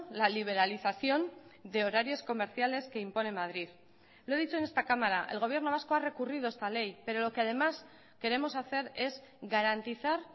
la liberalización de horarios comerciales que impone madrid lo he dicho en esta cámara el gobierno vasco ha recurrido esta ley pero lo que además queremos hacer es garantizar